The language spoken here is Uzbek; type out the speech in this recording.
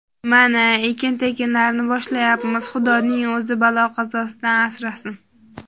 Mana, ekin-tekinlarni boshlayapmiz, Xudoning o‘zi balo-qazosidan asrasin.